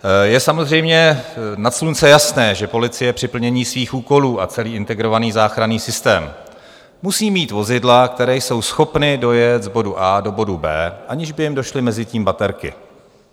Je samozřejmě nad slunce jasné, že policie při plnění svých úkolů a celý Integrovaný záchranný systém musí mít vozidla, která jsou schopná dojet z bodu A do bodu B, aniž by jim došly mezitím baterky.